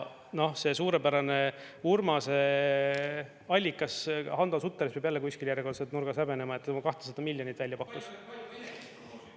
See suurepärane Urmase allikas, Hando Sutter peab siis jälle kuskil järjekordselt nurgas häbenema, et oma 200 miljonit välja pakkus.